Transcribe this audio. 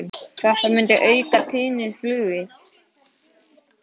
Þetta myndi auka tíðni flugs.